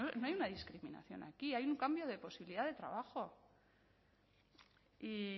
no hay una discriminación aquí hay un cambio de posibilidad de trabajo y